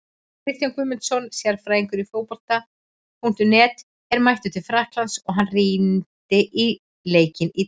Kristján Guðmundsson, sérfræðingur Fótbolta.net, er mættur til Frakklands og hann rýndi í leikinn í dag.